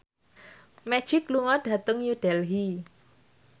Magic lunga dhateng New Delhi